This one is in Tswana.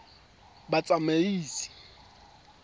batsamaisi